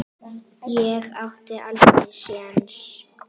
Ég átti aldrei séns.